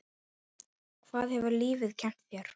Hvað hefur lífið kennt þér?